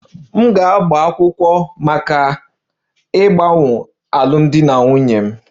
M ga-agba akwụkwọ maka ịkagbu alụmdi na nwunye m